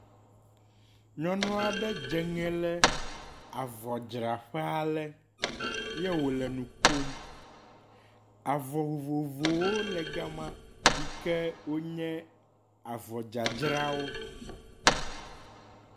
Nyɔnu ale dze ŋe le avɔdzraƒe ale ye wòle nu kom. Avɔ vovovowo le gama yike wonye avɔ ddzadzrawo.